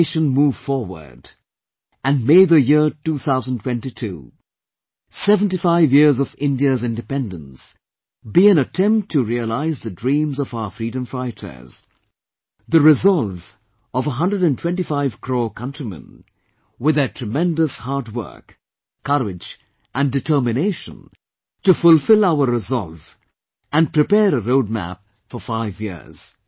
May the nation move forward and may the year two thousand twenty two 75 years of India's Independence be an attempt to realize the dreams of our freedom fighters, the resolve of 125 crore countrymen, with their tremendous hard work, courage and determination to fulfill our resolve and prepare a roadmap for five years